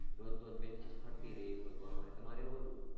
રોજ રોજ benches ફરતી રહે એવું હતું અમારે તમારે એવું હતું?